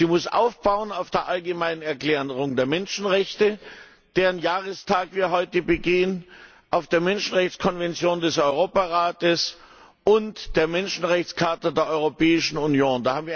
Sie muss aufbauen auf der Allgemeinen Erklärung der Menschenrechte, deren Jahrestag wir heute begehen, auf der Menschenrechtskonvention des Europarates und der Charta der Grundrechte der Europäischen Union.